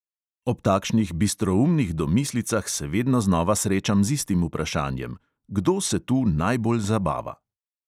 Ob takšnih bistroumnih domislicah se vedno znova srečam z istim vprašanjem: kdo se tu najbolj zabava?